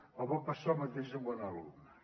ens pot passar el mateix amb un alumne